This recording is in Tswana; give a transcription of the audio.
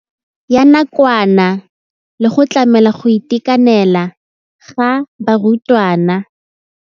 Ya nakwana le go tlamela go itekanela ga barutwana.